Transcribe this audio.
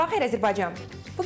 Sabahınız xeyir Azərbaycan.